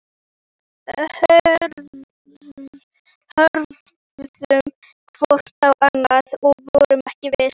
Hvað á ég að gera, kefla hana?